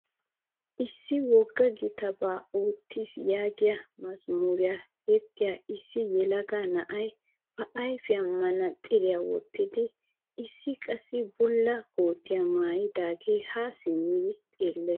Issi wogga gitaabaa oottiis yaagiyaa mazmuriyaa yexxiyaa issi yelaga na'ay ba ayfiyaan manaatsiriyaa wottidi issi qassi bulla kootiyaa maayidaage haa simmi xeellees.